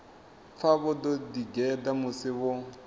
pfa vho ḓigeḓa musi vho